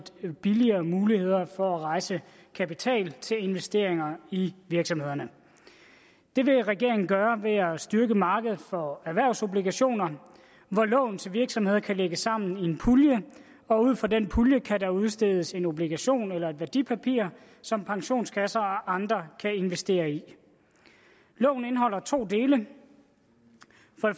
billigere muligheder for at rejse kapital til investeringer i virksomhederne det vil regeringen gøre ved at styrke markedet for erhvervsobligationer hvor lån til virksomheder kan lægges sammen i en pulje og ud fra den pulje kan der udstedes en obligation eller et værdipapir som pensionskasser og andre kan investere i loven indeholder to dele det